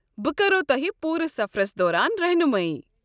بہٕ کرو تۄہہِ پوٗرٕ سفرس دوران رحنُمٲیی۔